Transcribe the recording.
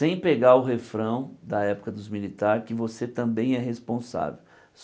Sem pegar o refrão da época dos militares, que você também é responsável.